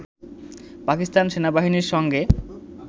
পাকিস্তান সেনাবাহিনীর সঙ্গে